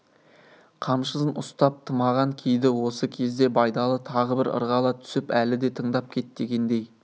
қамшысын ұстап тымағын киді осы кезде байдалы тағы бір ырғала түсіп әлі де тыңдап кет дегендей